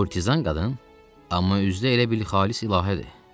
Kurtizan qadın, amma üzdə elə bil xalis ilahədir.